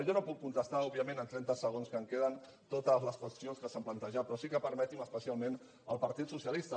jo no puc contestar òbviament en trenta segons que em queden totes les qüestions que s’han plantejat però sí que permeti’m especialment el partit socialista